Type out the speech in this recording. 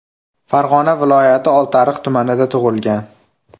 Farg‘ona viloyati Oltiariq tumanida tug‘ilgan.